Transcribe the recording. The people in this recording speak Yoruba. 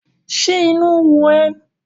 Ṣé inú ń run ẹ́?